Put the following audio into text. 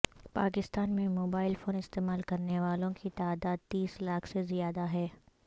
پاکستان میں mobile phone استعمال کرنے والوں کی تعداد تیس لاکھ سے زیادہ ہے